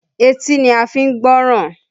Etí ni a fi ń gbọ́ràn